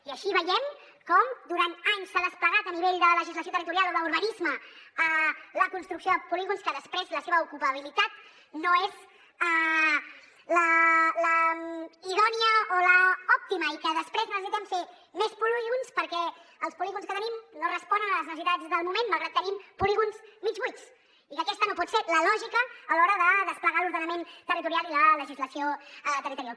i així veiem com durant anys s’ha desplegat a nivell de legislació territorial o d’urbanisme la construcció de polígons que després la seva ocupabilitat no és la idònia o l’òptima i que després necessitem fer més polígons perquè els polígons que tenim no responen a les necessitats del moment malgrat que tenim polígons mig buits i que aquesta no pot ser la lògica a l’hora de desplegar l’ordenament territorial i la legislació territorial